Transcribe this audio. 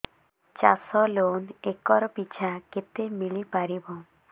ଚାଷ loan acre ପିଛା କେତେ ମିଳି ପାରିବ